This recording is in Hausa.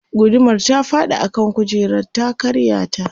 gudumar ta faɗi a kan kujerar ta karya ta